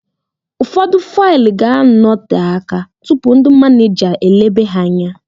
Ụfọdụ faịlụ ga anote aka tụpụ ndị manija eleba ha anya